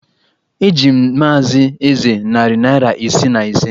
Eji m Maazị Eze narị naira isii na ise